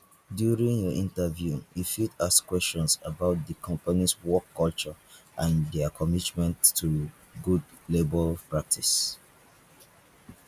during your interview you fit ask questions about di company work culture and their commitment to good labour practice